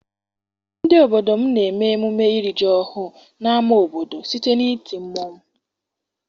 Ndị obodo m na-eme emume iri ji ọhụụ n'ama obodo site n'iti mmanwụ.